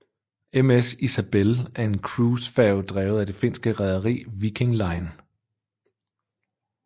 MS Isabelle er en cruisefærge drevet af det finske rederi Viking Line